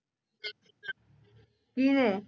ਕਿੰਨੇ